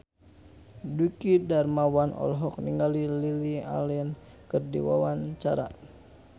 Dwiki Darmawan olohok ningali Lily Allen keur diwawancara